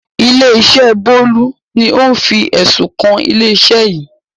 Ilé-iṣẹ́ Bólú ni ó ń fi ẹ̀sùn kan ilé-iṣẹ́ yìí.